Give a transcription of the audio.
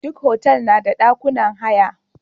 Duk hotal na da dakunan haya.